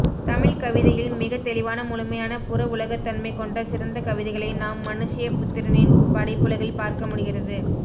தமிழ்க்கவிதையில் மிகத்தெளிவான முழுமையான புறஉலகத்தன்மை கொண்ட சிறந்த கவிதைகளை நாம் மனுஷய புத்திரனின் படைப்புலகில் பார்க்க முடிகிறது